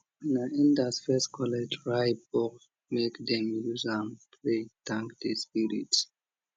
na elders first collect ripe bole make dem use am pray thank the spirits